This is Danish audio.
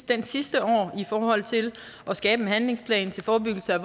dén sidste år i forhold til at skabe en handlingsplan til forebyggelse af